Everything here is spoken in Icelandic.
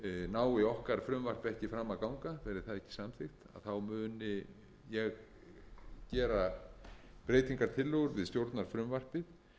nái okkar frumvarp ekki fram að ganga verði það ekki samþykkt þá muni ég gera breytingartillögur við stjórnarfrumvarpið